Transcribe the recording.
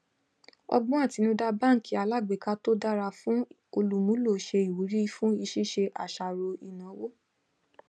ọgbón atinuda baanki alágbèéká tó dára fún olùmúlò ṣe ìwúrí fún ṣíṣe àṣàrò ìnáwó